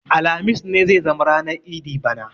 Alhamis ne zai zama ranar idi bana